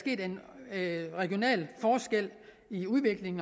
i den regionale forskel